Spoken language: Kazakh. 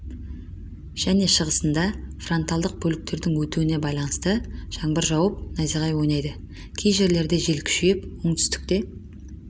және шығысында фронтальдық бөліктердің өтуіне байланысты жаңбыр жауып найзағай ойнайды кей жерлерде жел күшейіп оңтүстікте